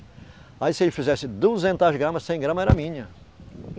Aí se eles fizessem duzentos gramas, cem gramas eram minhas.